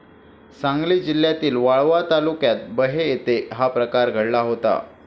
सांगली जिल्ह्यातील वाळवा तालुक्यात बहे येथे हा प्रकार घडला होता.